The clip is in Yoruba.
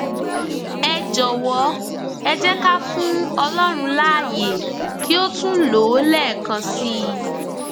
ẹ jọwọ ẹ jẹ ká fún ọlọrun láàyè kí ó tún lò ó lẹẹkan sí i